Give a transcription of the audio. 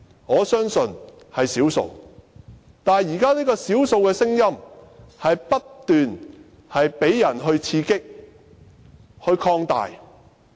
我相信只是少數，但現時這些少數的聲音卻不斷被刺激並擴大。